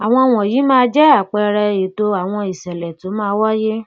àwọn wọnyí máa jẹ àpẹẹrẹ ètò àwọn ìṣẹlẹ tó máa wáyé